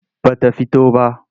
Ba ta fito ba.